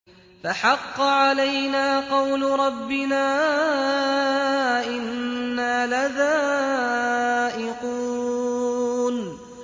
فَحَقَّ عَلَيْنَا قَوْلُ رَبِّنَا ۖ إِنَّا لَذَائِقُونَ